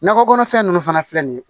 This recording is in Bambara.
Nakɔ kɔnɔfɛn ninnu fana filɛ nin ye